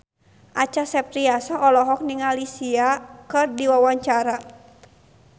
Acha Septriasa olohok ningali Sia keur diwawancara